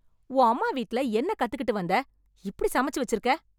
உன் அம்மா வீட்ல என்ன கத்துக்கிட்டு வந்த, இப்படி சமச்சு வச்சிருக்க.